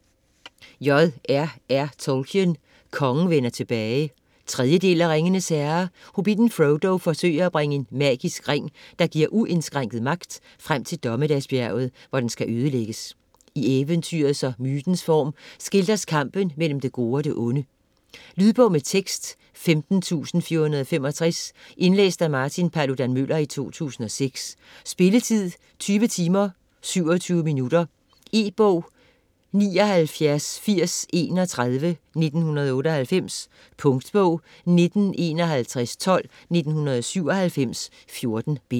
Tolkien, J. R. R.: Kongen vender tilbage 3. del af Ringenes herre. Hobbitten Frodo forsøger at bringe en magisk ring, der giver uindskrænket magt, frem til Dommedagsbjerget, hvor den skal ødelægges. I eventyrets og mytens form skildres kampen mellem det gode og det onde. Lydbog med tekst 15465 Indlæst af Martin Paludan-Müller, 2006 Spilletid: 20 timer, 27 minutter. E-bog 798031 1998. Punktbog 195112 1997.14 bind.